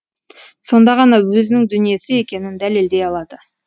сонда ғана өзінің дүниесі екенін дәлелдей алады